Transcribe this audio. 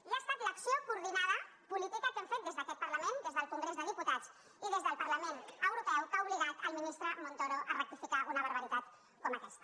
i ha estat l’acció coordinada política que hem fet des d’aquest parlament des del congrés dels diputats i des del parlament europeu que ha obligat al ministre montoro a rectificar una barbaritat com aquesta